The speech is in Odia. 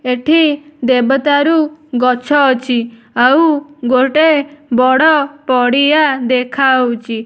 ଏଠି ଦେବଦାରୁ ଗଛ ଅଛି ଆଉ ଗୋଟିଏ ବଡ ପଡିଆ ଦେଖାହେଉଛି।